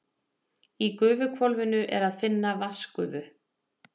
Í gufuhvolfinu er að finna vatnsgufu.